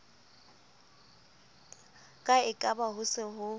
ka ekaba ho se ho